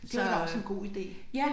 Det var da også en god ide